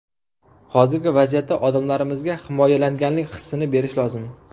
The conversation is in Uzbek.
Hozirgi vaziyatda odamlarimizga himoyalanganlik hissini berish lozim.